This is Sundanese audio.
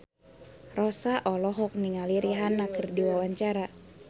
Rossa olohok ningali Rihanna keur diwawancara